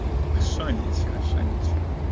что ничего что ничего